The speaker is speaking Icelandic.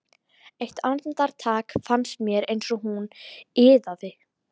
Eitt andartak fannst mér eins og hún iðaði.